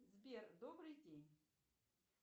сбер добрый день